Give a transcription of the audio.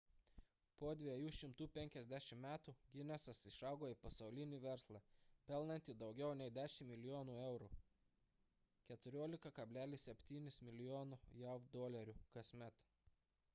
po 250 metų ginesas išaugo į pasaulinį verslą pelnantį daugiau nei 10 milijonų eurų 14,7 mln. jav dolerių kasmet